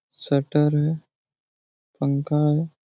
shutter है पंखा है|